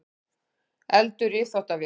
Eldur í uppþvottavél